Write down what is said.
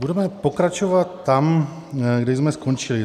Budeme pokračovat tam, kde jsme skončili.